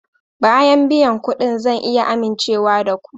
Bayan biyan kuɗin zan iya amincewa da ku?